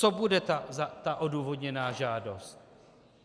Co bude ta odůvodněná žádost?